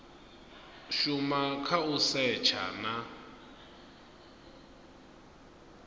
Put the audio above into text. shuma kha u setsha na